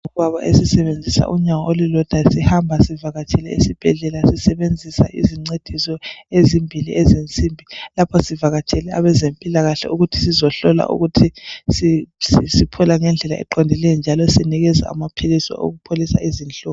Isigulane esingubaba esisebenzisa unyawo olulodwa, sihamba sivakatshele esibhedlela sisebenzisa izincediso ezimbili ezensimbi lapha sivakatshele abezempilakahle sizohlolwa siphola ngendlela eqondileyo njalo sinikezwa amaphilisi okupholisa izinhlungu.